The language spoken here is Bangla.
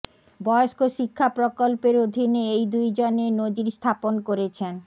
বয়স্ক শিক্ষা প্রকল্পের অধীনে এই দুইজনে নজির স্থাপন করেছেন